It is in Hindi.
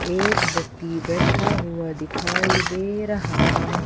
एक व्यक्ति बैठा हुआ दिखाई दे रहा है।